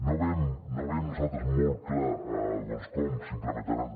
no veiem nosaltres molt clar doncs com s’implementaran